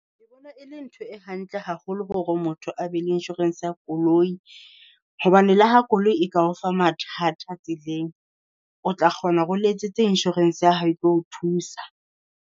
Ke bona e le ntho e hantle haholo hore motho a be le insurance ya koloi, hobane le ha koloi e ka o fa mathata a tseleng, o tla kgona hore o letsetse insurance ya hao e tlo o thusa.